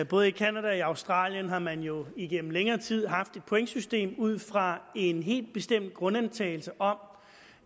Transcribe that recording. både i canada og australien har man jo igennem længere tid haft et pointsystem ud fra en helt bestemt grundantagelse om